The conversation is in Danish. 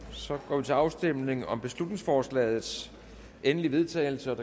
og så går vi til afstemning om beslutningsforslagets endelige vedtagelse